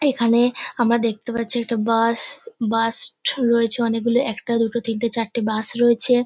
তো এখানে আমরা দেখতে পাচ্ছি একটা বাস । বাস -ট রয়েছে অনেকগুলো একটা দুটো তিনটে চারটে বাস রয়েছে।